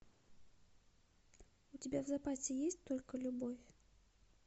у тебя в запасе есть только любовь